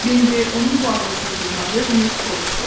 Bambi onun bu ağılsızlığına dözməyib soruşdu: